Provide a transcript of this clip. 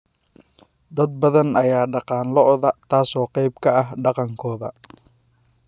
Dad badan ayaa dhaqaan lo'da taas oo qayb ka ah dhaqankooda.